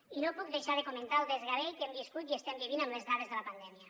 i no puc deixar de comentar el desgavell que hem viscut i estem vivint amb les dades de la pandèmia